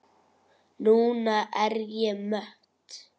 Núna er ég mött.